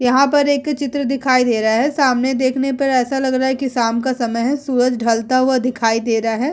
यहां पर एक अ चित्र दिखाई दे रहा है सामने देखने पर ऐसा लग रहा है कि शाम का समय है सूरज ढलता हुआ दिखाई दे रहा है।